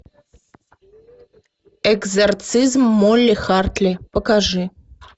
экзорцизм молли хартли покажи